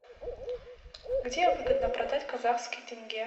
где выгодно продать казахский тенге